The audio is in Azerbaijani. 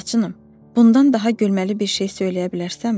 Laçınım, bundan daha gülməli bir şey söyləyə bilərsənmi?